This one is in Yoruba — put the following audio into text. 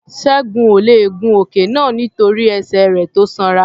Ṣẹ́gun ò le è gun òkè náà nítorí ẹsẹ̀ rẹ̀ tó sanra.